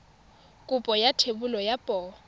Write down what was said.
kopo ya thebolo ya poo